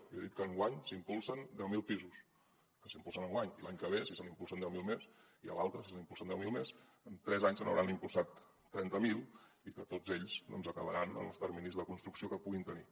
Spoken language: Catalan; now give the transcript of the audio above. jo he dit que enguany s’impulsen deu mil pisos que s’impulsen enguany i l’any que ve si se n’impulsen deu mil més i l’altre si se n’impulsen deu mil més en tres anys se n’hauran impulsat trenta mil i que tots ells doncs acabaran en els terminis de construcció que puguin tenir